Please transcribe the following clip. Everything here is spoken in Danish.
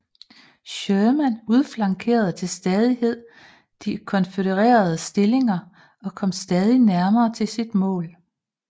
Sherman udflankerede til stadighed de konfødererede stillinger og kom stadig nærmere til sit mål